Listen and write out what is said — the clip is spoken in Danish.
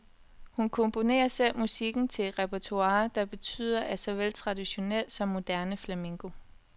Hun komponerer selv musikken til et repertoire, der byder på såvel traditionel som moderne flamenco.